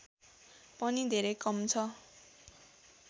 पनि धेरै कम छ